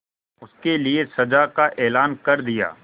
उसके लिए सजा का ऐलान कर दिया